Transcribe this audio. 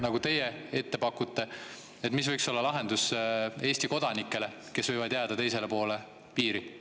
… nagu teie ette panete, siis mis võiks olla lahendus Eesti kodanikele, kes võivad jääda teisele poole piiri?